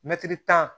Mɛtiri tan